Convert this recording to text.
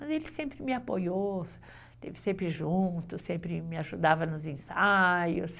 Mas ele sempre me apoiou, esteve sempre junto, sempre me ajudava nos ensaios.